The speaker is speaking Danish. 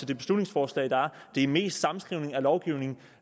det beslutningsforslag her det er mest sammenskrivning af lovgivning